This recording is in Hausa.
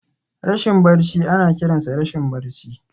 Rashin barci ana kiransa rashin barci.